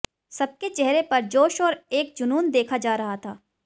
सबके चेहरे पर जोश और एक जूनून देखा जा रहा था